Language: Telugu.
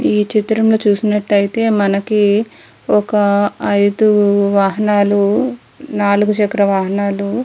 ఈ చిత్రం లో చూసినట్లు ఐతే మనకు ఒక అయిదు వాహనాలు నాలుగు చక్ర వాహనాలు --